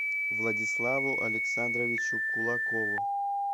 владиславу александровичу кулакову